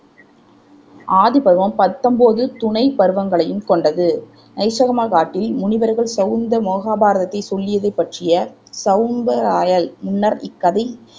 ஆதிபர்வகம் பத்தொம்போது துணைப் பருவங்களையும் கொண்டது நைசகமக் காட்டில் முனிவர்கள் சௌந்த மகாபாரதத்தைச் சொல்லியது பற்றிய முன்னர் இக்கதை